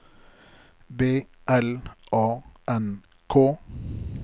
B L A N K